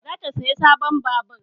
Za ta saya sabon babur